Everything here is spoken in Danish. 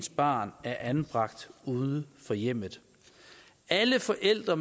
barn er anbragt uden for hjemmet alle forældre